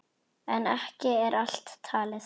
En ekki er allt talið.